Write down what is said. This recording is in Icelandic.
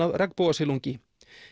af regnbogasilungi